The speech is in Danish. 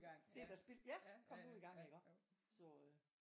Det da spild. Ja! Kom nu i gang så øh